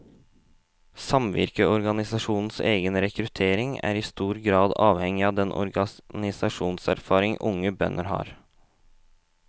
Samvirkeorganisasjonenes egen rekruttering er i stor grad avhengig av den organisasjonserfaring unge bønder har.